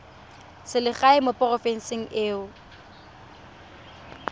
selegae mo porofenseng e o